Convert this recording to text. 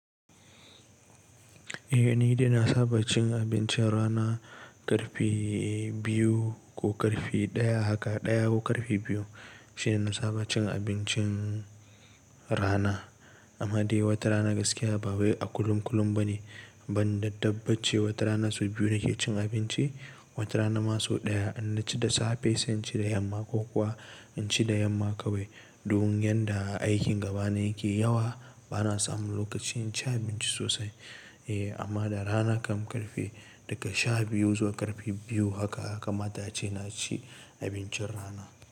Eh ni dai na saba cin abincin rana ƙarfe biyu ko ƙarfe ɗaya haka ɗaya ko ƙarfe biyu shine na saba cin abincin rana. Amma dai wata rana gaskiya ba wai a kullum kullum bane ban da dabbace wata rana su biyu nake cin abinci wata rana ma so ɗaya in na ci da safe sai in ci da yamma ko kuwa in ci da yamma kawai. Don yanda aikin gaba na yake yawa bana samun lokacin cin abinci sosai. Eh amma da rana kam ƙarfe daga sha biyu zuwa ƙarfe biyu haka haka ya kamata ce na ci abincin rana.